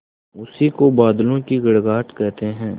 उसी को बादलों की गड़गड़ाहट कहते हैं